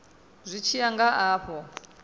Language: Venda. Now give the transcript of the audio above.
zwi tshi ya nga afho